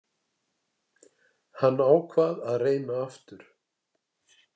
Hann ákvað að reyna aftur.